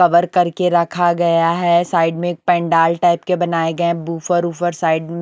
cover करके रखा गया है साइड में एक पंडाल टाइप के बनाए गए बूफर उफर साइड में--